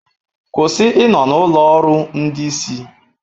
Kwụsị ịnọ na ụlọ ọrụ ndị isi